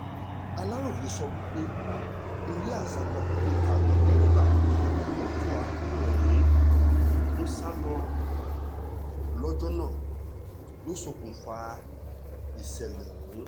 aláròye gbọ́ pé eré àsápajúdé táwọn dẹ́rẹ́bà mọ́tò akérò ọ̀hún ń sá lọ́jọ́ náà ló ṣokùnfà ìṣẹ̀lẹ̀ ọ̀hún